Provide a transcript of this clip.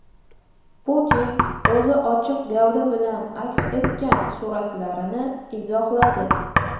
Putin o‘zi ochiq gavda bilan aks etgan suratlarni izohladi.